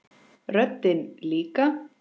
Röddin líka.